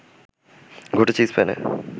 ঘটেছে স্পেনে